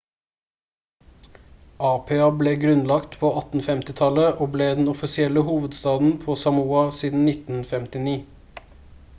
apia ble grunnlagt på 1850-tallet og ble den offisielle hovedstaden på samoa siden 1959